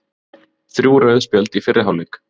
Þrjú rauð spjöld í fyrri hálfleik